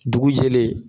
Dugu jɛlen